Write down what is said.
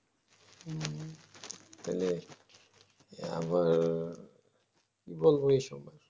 হম তাহলে আবার বলবো এইসব